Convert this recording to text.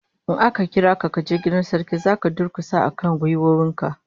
In aka kira ka kaje gaban Sarki, zaka durkusa akan gwiwoyin ka